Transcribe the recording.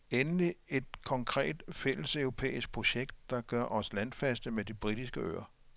Endelig et konkret fælleseuropæisk projekt, der gør os landfaste med de britiske øer.